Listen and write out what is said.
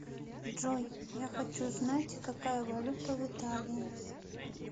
джой я хочу знать какая валюта в италии